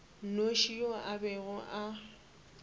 nnoši yo a bego a